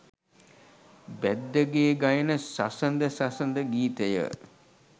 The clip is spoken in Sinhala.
බැද්දගේ ගයන සසඳ සසඳ ගීතය